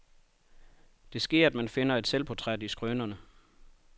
Det sker, at man finder et selvportræt i skrønerne.